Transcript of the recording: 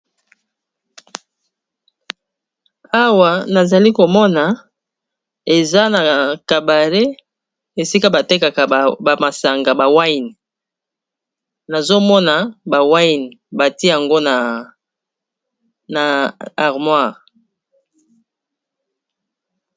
Awa nazali komona eza na kabare esika batekaka ba masanga ya vigno, nazomona ba vigno batie yango na armoire.